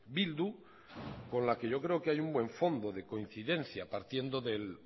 bildu con la que yo creo que hay un buen fondo de coincidencia partiendo del